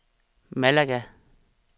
Malaga